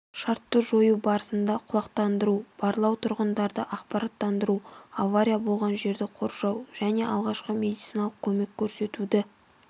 шартты жою барысында құлақтандыру барлау тұрғындарды ақпаратттандыру авария болған жерді қоршау және алғашқы медициналық көмек көрсетуді